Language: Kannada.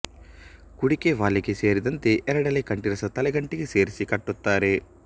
ಕುಡಿಕೆ ವಾಲೆಗೆ ಸೇರಿದಂತೆ ಎರಡೆಳೆ ಕಂಠಿಸರ ತಲೆಗಂಟಿಗೆ ಸೇರಿಸಿ ಕಟ್ಟುತ್ತಾರೆ